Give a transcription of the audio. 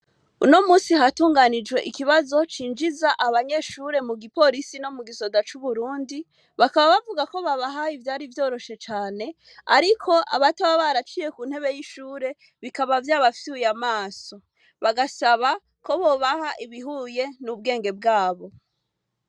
Uno munsi hatunganijwe ikibazo cinjiza abanyeshure mu giporisi no mu gisoda c'Uburundi bakaba bavugako babahaye ivayari vyoroshe cane, ariko abato baba baraciye ku ntebe y'ishure bikaba vyabafyuye amaso, bagasaba ko bobaha ibihuye n'ubwenge bwabo.